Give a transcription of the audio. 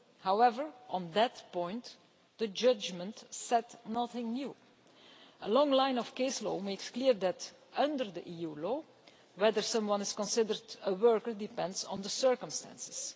However, on that point the judgment said nothing new. A long line of case law makes clear that, under EU law, whether someone is considered a worker depends on the circumstances.